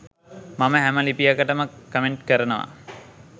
මම හැම ලිපියකටම කමෙන්ට් කරනවා.